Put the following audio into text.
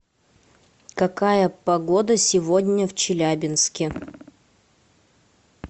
какая погода сегодня в челябинске